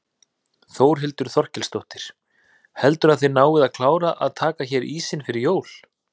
Þórhildur Þorkelsdóttir: Heldurðu að þið náið að klára að taka hérna ísinn fyrir jól?